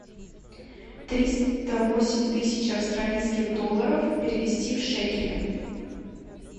триста восемь тысяч австралийских долларов перевести в шекели